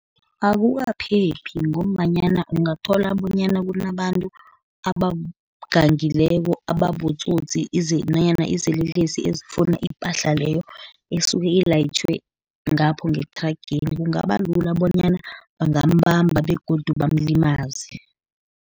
Akukaphephi ngombanyana ungathola bonyana kunabantu abagangileko, ababotsotsi nanyana izelelesi ezifuna ipahla leyo, esuke ilayitjhwe ngapho ngethrageni, kungaba lula bonyana bangambamba begodu bamlimaze.